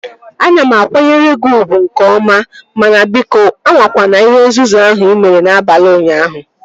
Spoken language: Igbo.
Ana m akwanyere gị ugwu nke ọma mana biko, anwakwana ihe nzuzu ahụ ị mere n'abalị ụnyaahụ